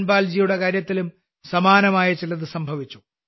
ധൻപാൽജിയുടെ കാര്യത്തിലും സമാനമായ ചിലത് സംഭവിച്ചു